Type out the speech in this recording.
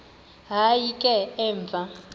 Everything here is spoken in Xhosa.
hayi ke emva